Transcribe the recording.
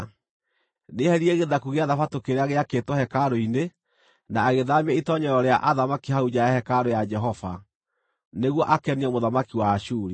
Nĩeheririe gĩthaku gĩa Thabatũ kĩrĩa gĩakĩtwo hekarũ-inĩ, na agĩthaamia itoonyero rĩa athamaki hau nja ya hekarũ ya Jehova, nĩguo akenie mũthamaki wa Ashuri.